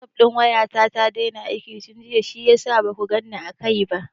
Wasup ɗin waya ta ta daina aiki tun jiya shiyasa ma baku ganni a kai ba.